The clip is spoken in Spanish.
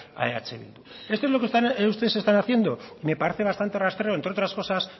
a eh bildu esto es lo que ustedes están haciendo me parece bastante rastrero entre otras cosas